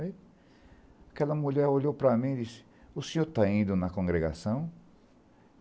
Aquela mulher olhou para mim e disse, o senhor está indo na congregação?